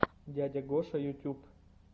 дядя гоша ютюб